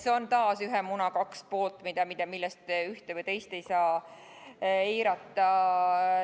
Need on taas ühe muna kaks poolt, millest ühte ega teist ei saa eirata.